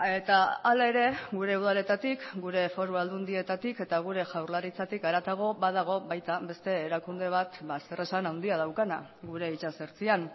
eta hala ere gure udaletatik gure foru aldundietatik eta gure jaurlaritzatik haratago badago baita beste erakunde bat zer esan handia daukana gure itsasertzean